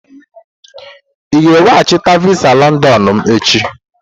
Ị ga-eweghachite visa Londonu m echi!